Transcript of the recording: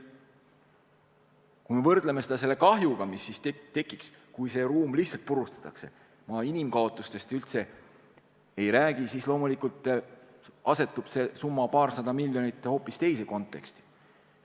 Kui me võrdleme seda selle kahjuga, mis tekiks, kui see ruum lihtsalt purustatakse – ma inimkaotustest üldse ei räägi –, siis loomulikult asetub see summa, paarsada miljonit, hoopis teise konteksti.